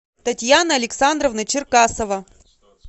татьяна александровна черкасова